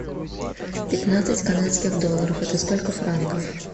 пятнадцать канадских долларов это сколько франков